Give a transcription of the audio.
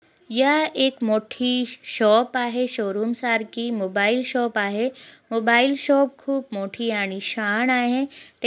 यह एक मोठी शॉप आहे शोरूम सारखी मोबाईल शॉप आहे मोबाईल शॉप खूब मोठी आलिशान आहे ते--